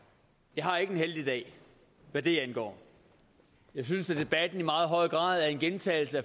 jeg har ikke en heldig dag hvad det angår jeg synes at debatten i meget høj grad er en gentagelse